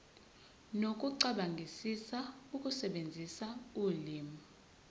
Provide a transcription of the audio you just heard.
nokucabangisisa ukusebenzisa ulimi